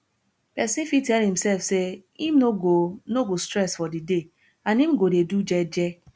persin fit tell imself say im no go no go stress for di day and im go de do gege